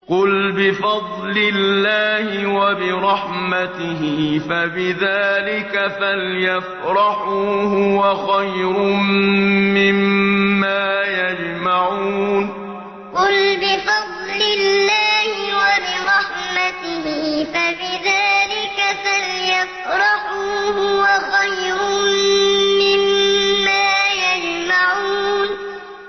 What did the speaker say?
قُلْ بِفَضْلِ اللَّهِ وَبِرَحْمَتِهِ فَبِذَٰلِكَ فَلْيَفْرَحُوا هُوَ خَيْرٌ مِّمَّا يَجْمَعُونَ قُلْ بِفَضْلِ اللَّهِ وَبِرَحْمَتِهِ فَبِذَٰلِكَ فَلْيَفْرَحُوا هُوَ خَيْرٌ مِّمَّا يَجْمَعُونَ